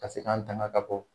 Ka se an dama ka bɔ.